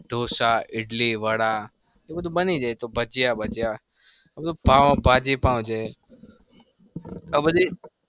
ઢોસા ઈડલી વડા એ બધું બની જાય. ભજીયા બજીયા આ બધું પાઉં ભાજી પાઉં છે.